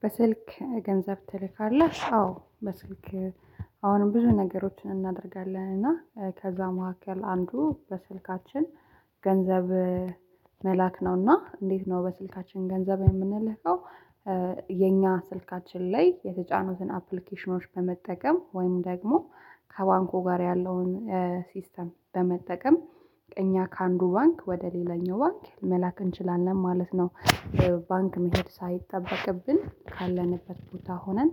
በስልክ ገንዘብ ትልካለህ? አዎ በስልክ አሁንም ብዙ ነገሮችን እናደርጋለን እና ከዛ መካከል አንዱ በስልካችን ገንዘብ መላክ ነውና እንዴት ነው በስልካችን ገንዘብ እምንልከው የኛ ስልካችን ላይ የተጫኑትን አፕሊኬሽኖች በመጠቀም ወይም ደግሞ ከባንኩ ጋር ያለውን ሲስተም በመጠቀም እኛ ከአንዱ ባንክ ወደ ሌላኛው ባንክ መላክ እንችላለን ማለት ነው። ባንክ መሄድ ሳይጠበቅብን ካለንበት ቦታ ሆነን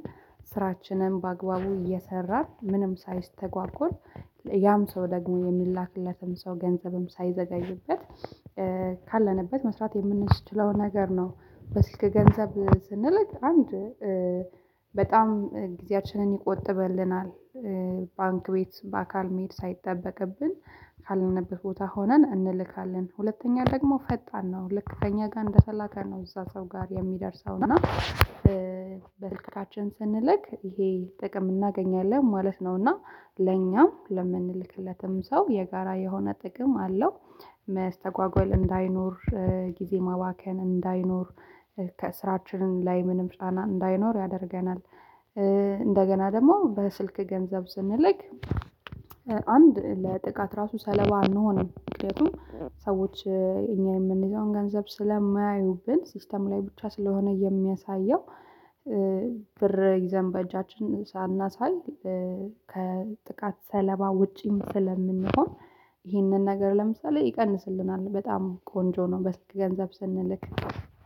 ስራችንን በአግባቡ እየሰራን ምንም ሳይስተጓጎል ያም ሰው ደግሞ እሚላክለትም ሰው ገንዘብም ሳይዘገይበት ካለንበት መስራት የምንችለው ነገር ነው። በስልክ ገንዘብ ስንል አንድ በጣም ጊዜያችንን ይቆጥብልናል። ባንክ ቤት በአካል መሄድ ሳይጠበቅብን ካለንበት ቦታ ሆነን እንልካለን ሁለተኛ ደግሞ ፈጣን ነው ልክ ከእኛ ጋር እንደተላከ ነው እዛ ሰው ጋር እሚደርሰው እና በስልካታችን ስንልክ ይሄ ጥቅም እናገኛለን ማለት ነው። እና ለኛም ለምንልክለትም ሰው የጋራ የሆነ ጥቅም አለው መስተጓጎል እንዳይኖር ጊዜ ማባከን እንዳይኖር ከስራችን ላይ ምንም ጫና እንዳይኖር ያደርገናል። እንደገና ደግሞ በስልክ ገንዘብ ስንልክ አንድ ለጥቃት ራሱ ሰለባ አንሆንም ምክንያቱም ሰዎች እኛ የምንይዘውን ገንዘብ ስለማያዩብን ሲስተም ላይ ብቻ ስለሆነ የሚያሳየው ብር ይዘን በእጃችን ሳናሳይ ከጥቃት ሰለባ ውጪም ስለምንሆን ይህንን ነገር ለምሳሌ ይቀንስልናል በጣም ቆንጆ ነው። በስልክ ገንዘብ ስንልክ